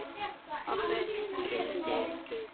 Pabbi kyngdi.